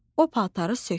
O paltarı sökdü.